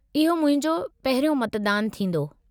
इहो मुंहिंजो पहिरियों मतदानु थींदो।